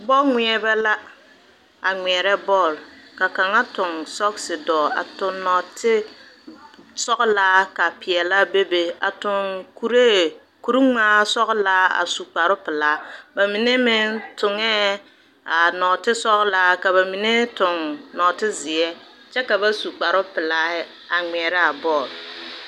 Bɔl ŋmɛrebɛ la a ŋmɛre bɔl ka kaŋa toŋ sɔɔse dɔ a toŋ naate sɔglaa ka peɛlaa be be ,a toŋ kuri kuriŋmaa sɔglaa a su kpare peɛle ba mine meŋ toŋa a noote sɔglaa ka ba mine su noote ziɛ kyɛ ka ba su kpare pelaa a ŋmɛra bɔl.